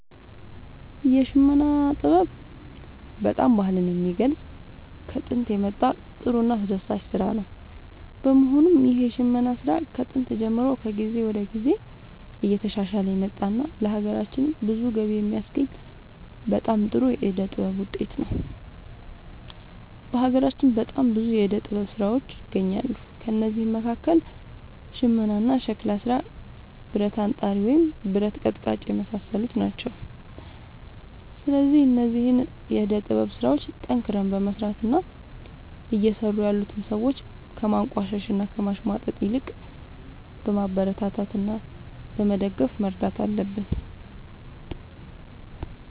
የሽመና ጥበብ በጣም ባህልን የሚገልፅ ከጦንት የመጣ ጥሩ እና አስደሳች ስራ ነው በመሆኑም ይህ የሽመና ስራ ከጥንት ጀምሮ ከጊዜ ወደ ጊዜ እየተሻሻለ የመጣ እና ለሀገራችንም ብዙ ገቢ የሚያስገኝ በጣም ጥሩ የዕደ ጥበብ ውጤት ነው። በሀገራችን በጣም ብዙ የዕደ ጥበብ ስራዎች ይገኛሉ ከእነዚህም መካከል ሽመና ሸክላ ስራ ብረት አንጣሪ ወይም ብረት ቀጥቃጭ የመሳሰሉት ናቸው። ስለዚህ እነዚህን የዕደ ጥበብ ስራዎች ጠንክረን በመስራት እና እየሰሩ ያሉትን ሰዎች ከማንቋሸሽ እና ከማሽሟጠጥ ይልቅ በማበረታታት እና በመደገፍ መርዳት አለብን